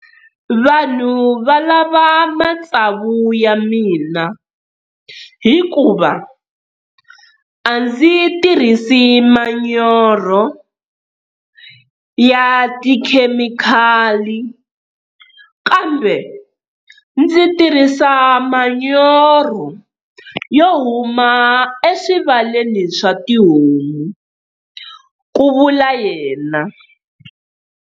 Vanhu va lava matsavu ya mina hikuva a ndzi tirhisi manyoro ya tikhemikhali, kambe ndzi tirhisa manyoro yo huma eswivaleni swa tihomu, ku vula yena.